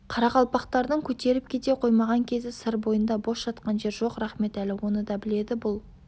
қарақалпақтардың көтеріліп кете қоймаған кезі сыр бойында бос жатқан жер жоқ рахметәлі оны да біледі бұл